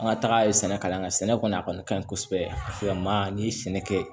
An ka taga ye sɛnɛ kalan kɛ sɛnɛ kɔni a kɔni ka ɲi kosɛbɛ ni sɛnɛ kɛ